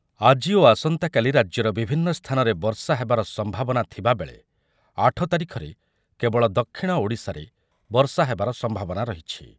ଆଜି ଓ ଆସନ୍ତାକାଲି ରାଜ୍ୟର ବିଭିନ୍ନ ସ୍ଥାନରେ ବର୍ଷା ହେବାର ସମ୍ଭାବନା ଥିବା ବେଳେ ଆଠ ତାରିଖରେ କେବଳ ଦକ୍ଷିଣ ଓଡ଼ିଶାରେ ବର୍ଷା ହେବାର ସମ୍ଭାବନା ରହିଛି ।